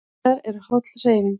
Hjólreiðar eru holl hreyfing